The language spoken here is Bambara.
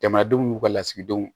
Jamanadenw n'u ka lasigidenw